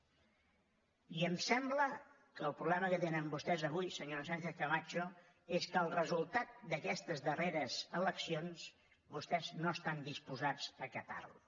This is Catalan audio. i em sembla que el problema que tenen vostès avui senyora sánchez camacho és que el resultat d’aquestes darreres eleccions vostès no estan disposats a acatar lo